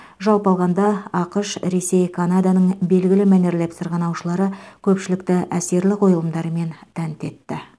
жалпы алғанда ақш ресей канаданың белгілі мәнерлеп сырғанаушылары көпшілікті әсерлі қойылымдарымен тәнті етті